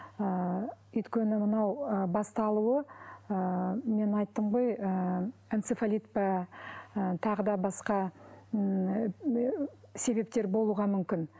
ы өйткені мынау ы басталуы ы мен айттым ғой ы энцефалит па ы тағы да басқа себептер болуға мүмкін